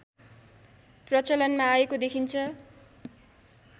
प्रचलनमा आएको देखिन्छ